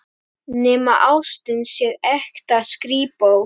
Nema ástin sé ekta skrípó.